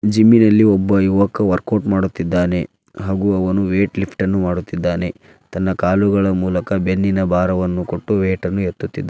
Jimmy ನಲ್ಲಿ ಒಬ್ಬ ಯುವಕ ವರ್ಕೌಟ್ ಮಾಡುತ್ತಿದ್ದಾನೆ ಹಾಗೆ ಅವನು ವೈಟ್ ಲಿಫ್ಟನ್ನು ಮಾಡುತ್ತಿದ್ದಾನೆ ತನ್ನ ಕಾಲಿನ ಮೂಲಕ ಬೆನ್ನಿನ ಭಾರವನ್ನು ಕೋಟು ವೈಟ್ ಎತ್ತುತ್ತಿದ್ದಾನೆ.